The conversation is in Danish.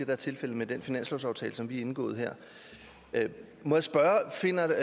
er tilfældet med den finanslovsaftale som vi har indgået her må jeg spørge finder